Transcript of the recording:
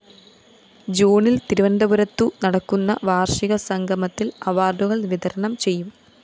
ജൂണില്‍ തിരുവനന്തപുരത്തു നടക്കുന്ന വാര്‍ഷിക സംഗമത്തില്‍ അവാര്‍ഡുകള്‍ വിതരണം ചെയ്യും